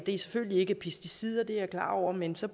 er selvfølgelig ikke pesticider det er jeg klar over men så